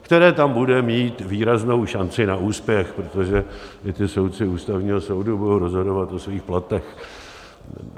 které tam bude mít výraznou šanci na úspěch, protože i ti soudci Ústavního soudu budou rozhodovat o svých platech.